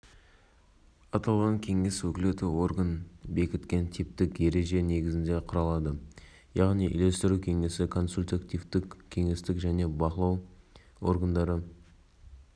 атқарушы органдардың ардагерлер кеңесі мен бизнес құрылымдарының және табиғат саласындағы мекемелер өкілдері кіреді деп атап